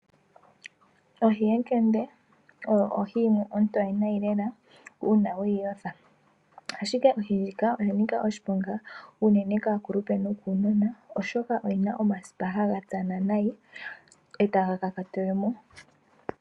Ohi yekende oyo ohi yimwe ontoye nayi lela uuna weyi yotha ashike ohi ndjika oyanika oshiponga unene kaakulupe nokunona oshoka oyina omasipa nayi etaga kakatele mo.